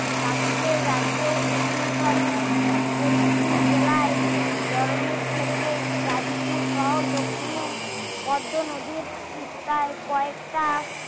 নাসিকের রাজ্য উন্নথানে পরিপুর জেলায় বরণের থেকে রাজপুর শহর দক্ষিণে পদ্ম নদীর তিস্তায় কয়েকটা